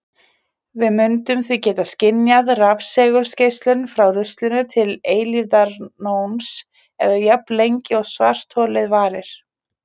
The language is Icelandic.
Við mundum því geta skynjað rafsegulgeislun frá ruslinu til eilífðarnóns eða jafnlengi og svartholið varir!